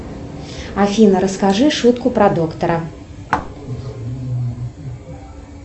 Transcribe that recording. афина расскажи шутку про доктора